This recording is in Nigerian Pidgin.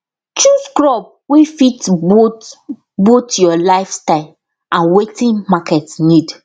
chose crop wey fit both both your life style and watin market need